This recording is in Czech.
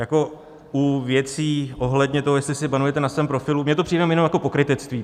Jako u věcí ohledně toho, jestli si banujete na svém profilu - mně to přijde jenom jako pokrytectví.